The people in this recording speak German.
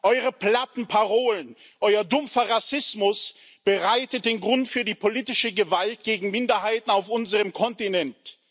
Eure platten Parolen, euer dumpfer Rassismus bereiten den Grund für die politische Gewalt gegen Minderheiten auf unserem Kontinent.